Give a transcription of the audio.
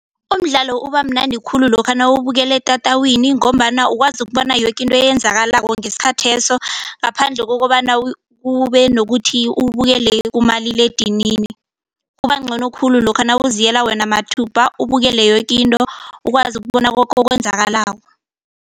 Umdlalo ubamnandi khulu lokha nawuwubukela etatawini ngombana ukwazi ukubona yokinto eyenzakalako ngesikhatheso ngaphandle kokobana kube nokuthi uwubukele kumaliledinini. Kubangcono khulu lokha nawuziyela wena mathupha ubukele yoke into ukwazi ukubona okwenzakalako.